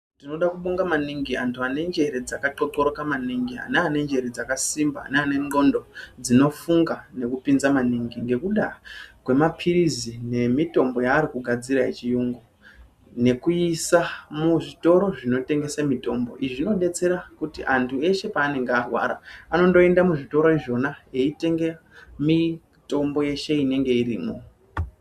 Tinoda kuvonga maningi anhu vanenjere dzaka qoqoroka maningi ,ana anenjere dzkakasimba neane ngxondo dzinofunga dzinopinza maningi nekuda kwemapirisi nemitombo yaarikugadzira yechiyungu. Nekuisa muzvitoro zvinotengese mitombo, izvi zvinobetsera kuti antu eshe paanenge arwara anoenda muzvitora izvona beyitenge mitombo yeshe inenge irimo.